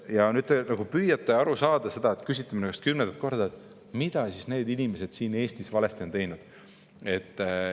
Ja nüüd te püüate aru saada sellest, küsite seda minu käest juba kümnendat korda, mida need inimesed siin Eestis on valesti teinud.